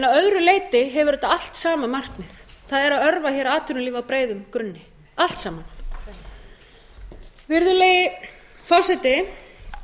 að öðru leyti hefur þetta allt sama markmið það er að örva atvinnulíf á breiðum grunni allt saman virðulegi forseti